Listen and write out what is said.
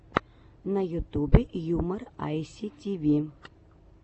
на ютубе юмор айситиви